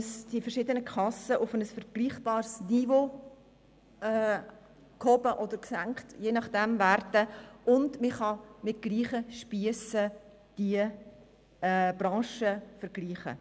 Die verschiedenen Kassen können auf ein vergleichbares Niveau gehoben oder gesenkt werden, und man kann die Branchen somit mit gleichen Spiessen vergleichen.